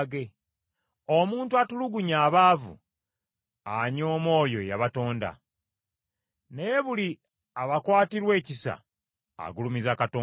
Omuntu atulugunya abaavu anyooma oyo eyabatonda, naye buli abakwatirwa ekisa, agulumiza Katonda.